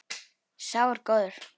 Sá er góður.